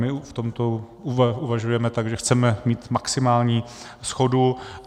My v tomto uvažujeme tak, že chceme mít maximální shodu.